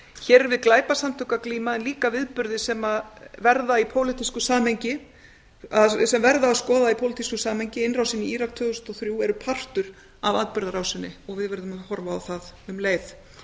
hér er við glæpasamtök að glíma en líka viðburði sem verður að skoða í pólitísku samhengi innrásin í írak tvö þúsund og þrjú er partur af atburðarásinni og við verðum að horfa á hana um leið